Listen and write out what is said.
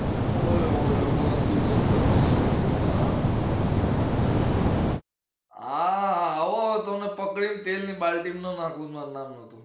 ઓય હોય ગંદુ ગંદુ મેલું મેલું હમ હા આવો તમને પકડી ને તેલ ની બાલટી નો નાખું તો મારું નામ ન જો